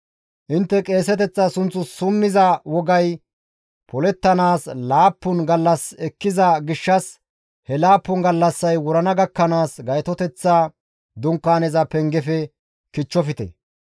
Intte qeeseteththa sunth summiza wogay polettanaas laappun gallas ekkiza gishshas he laappun gallassay wurana gakkanaas Gaytoteththa Dunkaaneza pengefe kichchofte.